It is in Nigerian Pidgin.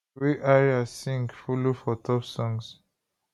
wey ayra sing follow for top songs